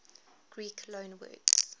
greek loanwords